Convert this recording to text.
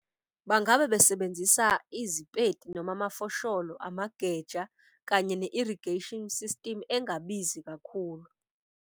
Bangabe besebenzisa izipeti noma amafosholo, amageja kanye ne-irrigation system engabizi kakhulu.